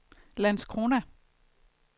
Landskrona